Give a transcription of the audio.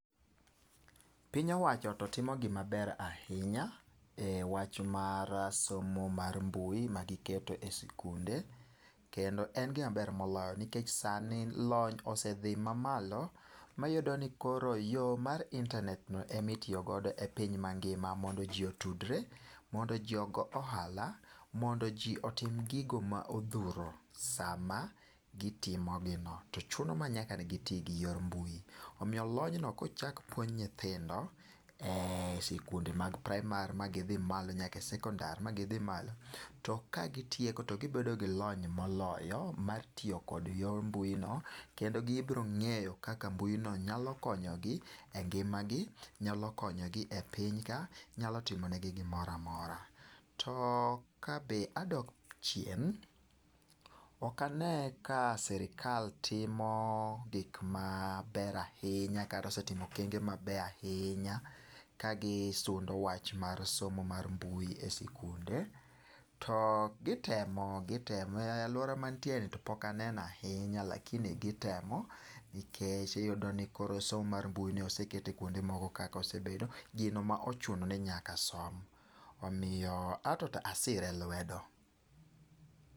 Piny owacho to timo gimaber ahinya e wach mar somo mar mbui ma giketo e sikunde, kendo en gimaber moloyo. Nikech sani lony osedhi mamalo maiyudoni koro yo mar internet no emitiyogodo e piny mangima mondo ji otudre, mondo ji ogo ohala. Mondo ji otim gigo ma odhuro sama gitimogino to chuno manyaka giti gi yor mbui. Omiyo lonyno kochak puonj nyithindo e sikunde mag praimar ma gidhi malo nyaka sekondar ma gidhi malo. To ka gitieko to gibiro bedo gi lony moloyo mar tiyo kod yor mbui no. Kndo gibiro ng'eyo kaka mbui no nyalo konyogi e ngima gi, nyalo konyogi e piny ka, nyalo timone gi gimoramora. To kabe adok chien, okane ka sirikal timo gik ma ber ahinya kata osetimo okenge ma beyahinya ka gisundo wach mar somo mar mbui e sikunde. To gitemo, gitemo, e alwora ma antieni to pokaneno ahinya lakini gitemo. Nikech iyudo ni koro somo mar mbui ni oseket e kuonde moko kaka osebedo gino mochuno ni nyaka som. Omiyo ato ta asire lwedo.